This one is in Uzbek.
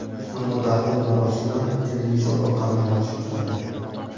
ammo dafn marosimi televizor orqali namoyish etiladi.